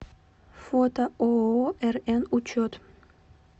фото ооо рн учет